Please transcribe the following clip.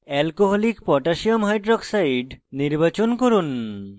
alcoholic potassium hydroxide alc koh নির্বাচন করুন